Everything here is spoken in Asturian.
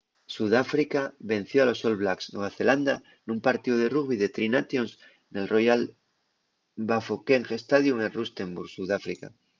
sudáfrica venció a los all blacks nueva zelanda nun partíu de rugbi de tri nations nel royal bafokeng stadium en rustenburg sudáfrica